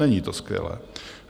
Není to skvělé.